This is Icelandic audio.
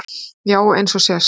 Já eins og sést